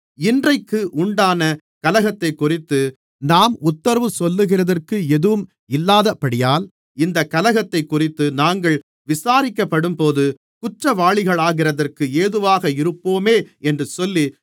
இன்றைக்கு உண்டான கலகத்தைக்குறித்து நாம் உத்தரவு சொல்லுகிறதற்கு எதுவும் இல்லாதபடியால் இந்தக் கலகத்தைக்குறித்து நாங்கள் விசாரிக்கப்படும்போது குற்றவாளிகளாகிறதற்கு ஏதுவாக இருப்போமே என்று சொல்லி